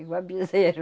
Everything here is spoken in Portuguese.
Igual bezerro.